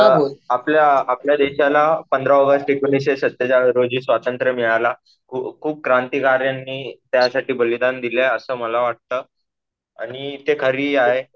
आपल्या देशाला पंधरा ऑगस्ट एकोणीसशे सत्तेचाळरोजी स्वातंत्र्य मिळालं व खूप क्रांतिकार्यानी त्यासाठी बलिदान दिलं. अस मला वाटतं आणि ते खरंही आहे.